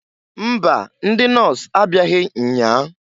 Mba! Ndị nọs abịaghị nnyaa.